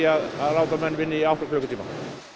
að láta menn vinna í átta klukkutíma